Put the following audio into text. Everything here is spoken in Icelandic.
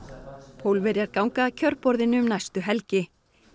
Pólverjar ganga að kjörborðinu um næstu helgi